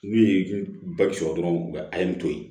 N'u ye sɔrɔ dɔrɔn a ye n to yen